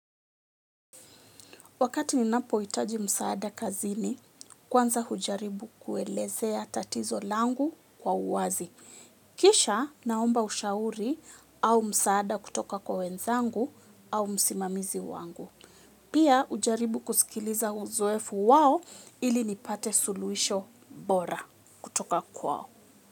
Wakati ninapohitaji msaada kazini, kwanza hujaribu kuelezea tatizo langu kwa uwazi. Kisha naomba ushauri au msaada kutoka kwa wenzangu au msimamizi wangu. Pia hujaribu kusikiliza uzoefu wao ili nipate suluhisho bora kutoka kwao.